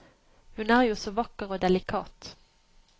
Hun er jo så vakker og delikat.